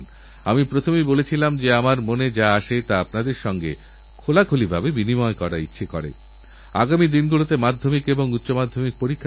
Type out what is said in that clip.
আসুন আমরা এমন এক পরিবেশ তৈরি করি যাতে স্বাধীনতাসংগ্রামীদের সংগ্রামের রঙ গোটা দেশে ছড়িয়ে পড়ে স্বাধীনতার সুবাস চারদিকে অনুভূতহয়